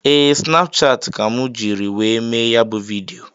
Ee, Snapchati ka mụ jiri wee mee ya bụ vidịo